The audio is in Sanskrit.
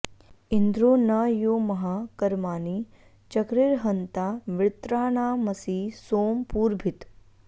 इन्द्रो न यो महा कर्माणि चक्रिर्हन्ता वृत्राणामसि सोम पूर्भित्